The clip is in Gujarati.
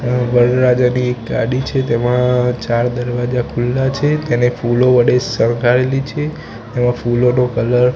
આ વરરાજાની એક ગાડી છે તેમા ચાર દરવાજા ખુલ્લા છે તેને ફૂલો વડે શણગારેલી છે એમાં ફૂલોનો કલર --